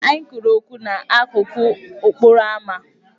Anyị kwuru okwu n'akụkụ okporoama.